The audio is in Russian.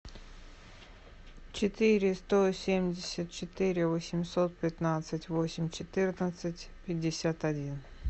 четыре сто семьдесят четыре восемьсот пятнадцать восемь четырнадцать пятьдесят один